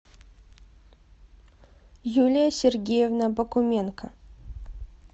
юлия сергеевна бакуменко